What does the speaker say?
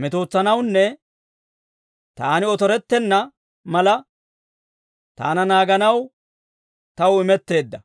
metootsanawunne taani otorettenna mala, taana naaganaw taw imetteedda.